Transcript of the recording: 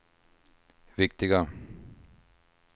viktiga